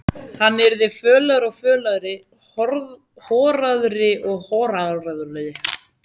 Hann yrði fölari og fölari, horaðri og horaðri.